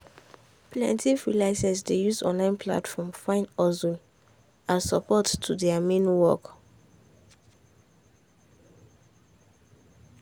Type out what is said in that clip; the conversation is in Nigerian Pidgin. plenty freelancers dey use online platform find husstle as support to thier main work.